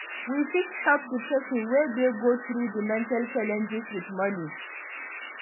We fit help di person wey dey go through di mental challenege with money